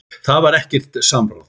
Það var ekkert samráð.